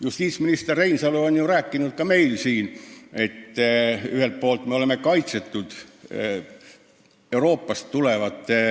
Justiitsminister Reinsalu on rääkinud ka meile siin, et ühelt poolt me oleme kaitsetud Euroopast tulevate